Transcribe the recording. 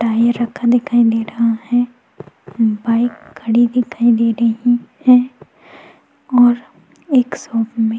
टाय रखा दिखाई दे रहा है बाइक खड़ी दिखाई दे रही है और एक सोफे में --